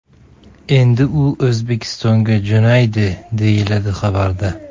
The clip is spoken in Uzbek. Endi u O‘zbekistonga jo‘naydi”, deyiladi xabarda.